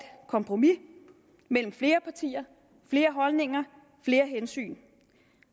kompromis mellem flere partier flere holdninger flere hensyn